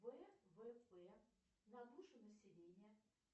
ввп на душу населения